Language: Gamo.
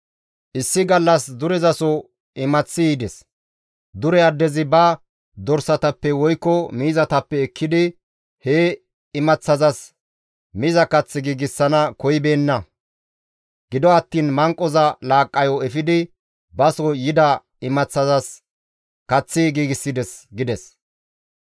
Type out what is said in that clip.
«Issi gallas durezaso imaththi yides; dure addezi ba dorsatappe woykko miizatappe ekkidi he imaththazas miza kath giigsana koyibeenna; gido attiin manqoza laaqqayo efidi baso yida imaththazas kaththi giigsides» gides.